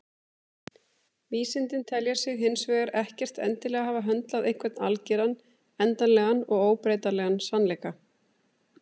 Vísindin telja sig hins vegar ekkert endilega hafa höndlað einhvern algeran, endanlegan og óbreytanlegan sannleika.